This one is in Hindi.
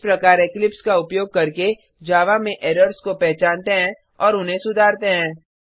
इस प्रकार इक्लिप्स का उपयोग करके जावा में एरर्स को पहचानते हैं और उन्हें सुधारते हैं